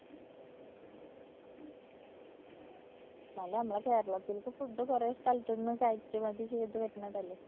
എന്നാലും നമ്മളെ കേരളത്തില്‍ത്തെ food കൊറേ സ്ഥലത്തന്ന് കയറ്റുമതി ചെയ്ത് വരുന്നതല്ലേ?